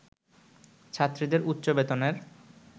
ছাত্রীদের উচ্চ বেতনের